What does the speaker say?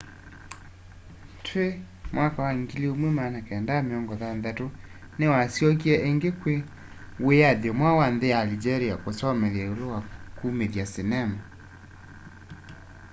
twi 1960s niwasyokie ingi kwa wiyathi mweu wa nthi ya algeria kusomethya iulu wa kumithya sinema